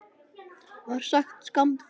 var sagt skammt frá þeim.